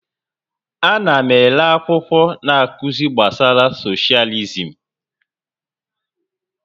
Ana m ere akwụkwọ na-akụzi gbasara socialism